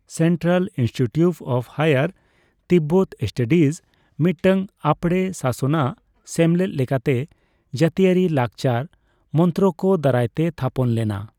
Central institute of higher Tibetan studies ᱢᱤᱫᱴᱟᱝ ᱟᱯᱲᱮ ᱥᱟᱥᱚᱱᱟᱜ ᱥᱮᱢᱞᱮᱫ ᱞᱮᱠᱟᱛᱮ ᱡᱟᱹᱛᱤᱭᱟᱹᱨᱤ ᱞᱟᱠᱪᱟᱨ ᱢᱚᱱᱛᱨᱚᱠ ᱫᱟᱨᱟᱭᱛᱮ ᱛᱷᱟᱯᱚᱱ ᱞᱮᱱᱟ ᱾